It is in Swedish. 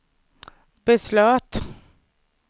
beslöt